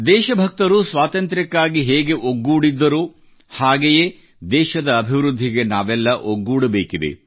ದೇಶಭಕ್ತರು ಸ್ವಾತಂತ್ರ್ಯಕ್ಕಾಗಿ ಹೇಗೆ ಒಗ್ಗೂಡಿದ್ದರೋ ಹಾಗೆಯೇ ದೇಶದ ಅಭಿವೃದ್ಧಿಗೆ ನಾವೆಲ್ಲ ಒಗ್ಗೂಡಬೇಕಿದೆ